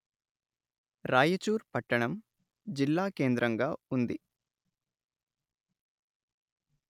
రాయచూర్ పట్టణం జిల్లాకేంద్రంగా ఉంది